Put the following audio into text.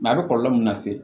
a bɛ kɔlɔlɔ min lase